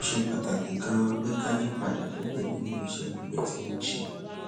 ó ṣe pàtàkì ganan pé ká yí padà kúrò nínú iṣé àgbè tí wón ń ṣe